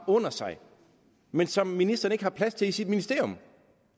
under sig men som ministeren ikke har plads til i sit ministerium